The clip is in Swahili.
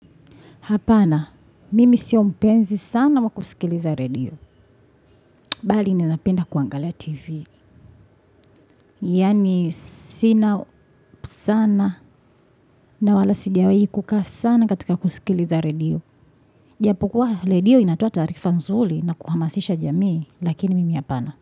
Hapana, mimi si mpenzi sana wa kusikiliza redio. Bali, ninapenda kuangalia TV. Yani, sina sana na wala sijawai kukaa sana katika kusikiliza redio. Japo kuwa redio inatoa taarifa nzuli na kuhamasisha jamii, lakini mimi hapana.